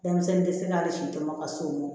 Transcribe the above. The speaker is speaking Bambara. Denmisɛnnin tɛ se hali si tɛmɛn ka s'o ma